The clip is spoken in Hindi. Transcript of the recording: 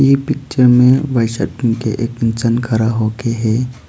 ई पिक्चर में व्हाइट शर्ट पहन के एक इंसान खड़ा होके है।